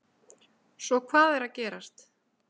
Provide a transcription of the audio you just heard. Svo hvað er að gerast?